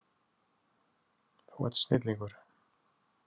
Þú ert snillingur!